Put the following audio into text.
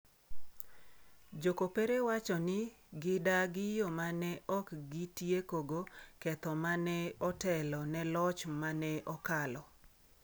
Jo kopere wacho ni gidagi yo ma ne ok gitiekogo ketho ma ne otelo ne loch ma ne okalo.